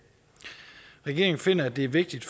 regeringen finder at det er vigtigt